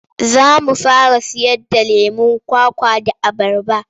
Za mu fara sayarda lemon kwakwa da abarba.